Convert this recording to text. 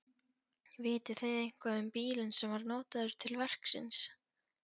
Vitið þið eitthvað um bílinn sem var notaður til verksins?